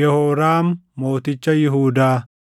Yehooraam Mooticha Yihuudaa 21:5‑10,20 kwf – 2Mt 8:16‑24